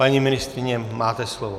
Paní ministryně, máte slovo.